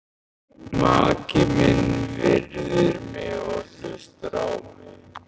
Maki minn virðir mig og hlustar á mig.